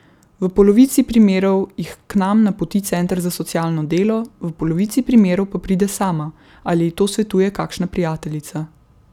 V polovici primerov jih k nam napoti center za socialno delo, v polovici primerov pa pride sama ali ji to svetuje kakšna prijateljica.